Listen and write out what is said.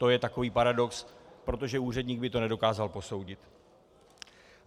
To je takový paradox, protože úředník by to nedokázal posoudit.